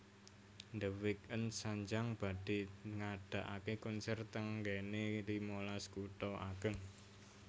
The Weeknd sanjang badhe ngadaake konser teng nggene limalas kutha ageng